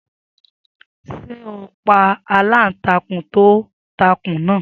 Sé ó pa aláǹtakùn tó takùn náà.